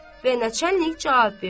Və Nəçənli cavab verdi.